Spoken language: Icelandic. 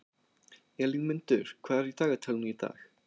Elínmundur, hvað er í dagatalinu í dag?